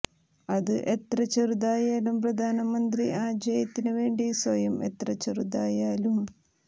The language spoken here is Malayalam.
അത് എത്ര ചെറുതായാലും പ്രധാനമന്ത്രി ആ ജയത്തിന് വേണ്ടി സ്വയം എത്ര ചെറുതായാലും